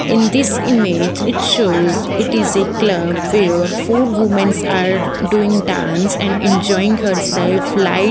in this image it shows it is a club where four women are doing dance and enjoying hersafe light --